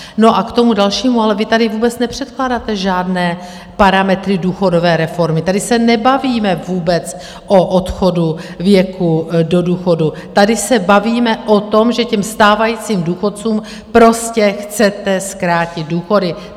No a k tomu dalšímu, ale vy tady vůbec nepředkládáte žádné parametry důchodové reformy, tady se nebavíme vůbec o odchodu věku do důchodu, tady se bavíme o tom, že těm stávajícím důchodcům prostě chcete zkrátit důchody.